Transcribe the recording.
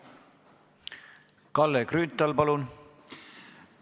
Kalle Grünthal, palun!